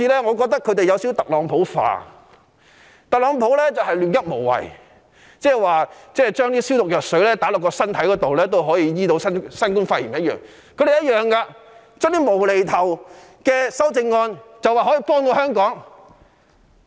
我覺得他們好像有點"特朗普化"，特朗普一向"亂噏無謂"，就如他說將消毒藥水注入身體可以醫治新冠肺炎一樣，反對派亦同樣指出這些"無厘頭"的修正案可以幫助香港。